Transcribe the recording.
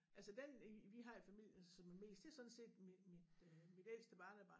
Altså den i vi har i familien som er mest det sådan set mit mit øh mit ældste barnebarn